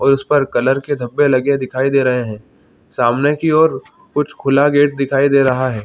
और इस पर कलर के धब्बे लगे दिखाई दे रहे है सामने की और कुछ खुला गेट दिखाई दे रहा है।